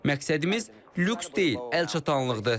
Məqsədimiz lüks deyil, əl çatanlıqdır.